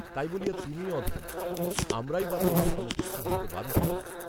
তাই বলিয়া তুমি অধম, আমরাই বা তোমার সমকক্ষ হইতে বাধা কোথায়